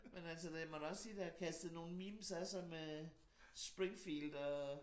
Men altså det må da også sige det har kastet nogle memes af sig med Springfield og